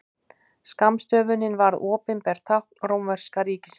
Skammstöfunin varð opinbert tákn rómverska ríkisins.